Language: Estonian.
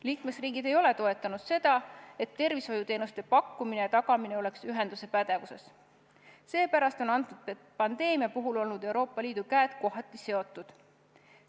Liikmesriigid ei ole toetanud seda, et tervishoiuteenuste pakkumine ja tagamine oleks ühenduse pädevuses, seepärast on pandeemia puhul Euroopa Liidu käed kohati seotud olnud.